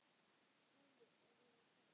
SKÚLI: Er ég hvað?